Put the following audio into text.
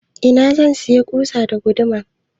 Ina zan sayi ƙusa da guduma?